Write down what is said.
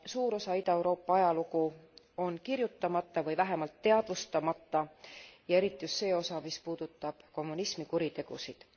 Suur osa Ida Euroopa ajalugu on kirjutamata või vähemalt teadvustamata ja eriti just see osa, mis puudutab kommunismi kuritegusid.